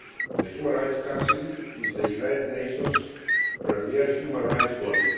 The Human Rights Council is the United Nations' premier human rights body.